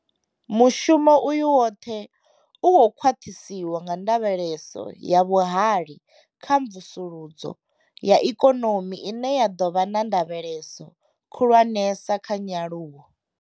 Mushumo uyu woṱhe u khou khwaṱhiswa nga ndavheleso ya vhuhali kha mvusuludzo ya ikonomi ine ya ḓo vha na ndavheleso khulwanesa kha nyaluwo.